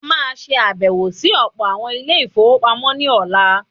A má a ṣe àbẹ̀wọ̀ sí ọ̀pọ̀ àwọn Ilé-ìfowópamọ́ ní ọ̀la.